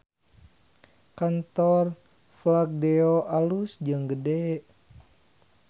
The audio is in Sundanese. Kantor Fladeo alus jeung gede